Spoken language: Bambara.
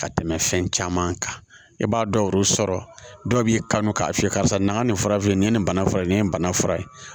Ka tɛmɛ fɛn caman kan i b'a dɔw sɔrɔ dɔw b'i kanu k'a f'i ye karisa na nin fara nin ye nin bana fura ye nin ye nin bana fura ye